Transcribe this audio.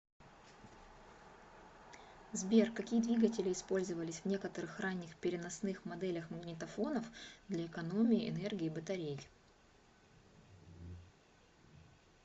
сбер какие двигатели использовались в некоторых ранних переносных моделях магнитофонов для экономии энергии батарей